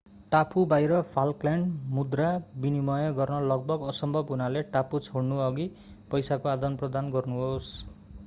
टापु बाहिर फाल्कल्यान्ड मुद्रा विनिमय गर्न लगभग असम्भव हुनाले टापु छोड्नअघि पैसाको आदान प्रदान गर्नुहोस्